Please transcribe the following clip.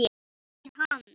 Er hann.